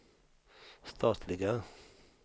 statliga